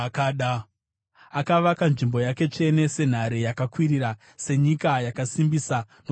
Akavaka nzvimbo yake tsvene senhare yakakwirira, senyika yaakasimbisa nokusingaperi.